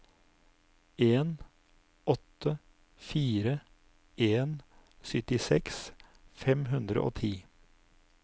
en åtte fire en syttiseks fem hundre og ti